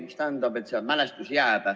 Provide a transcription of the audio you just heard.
See tähendab, et mälestus jääb.